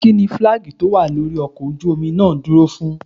Kínní fílágì tó wà lórí ọkọ̀ ojú omi náà dúró fún?